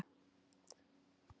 Liðið var algjörlega nýtt.